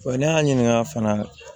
ne y'a ɲininka fana